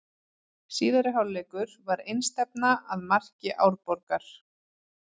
Síðari hálfleikur var einstefna að marki Árborgar.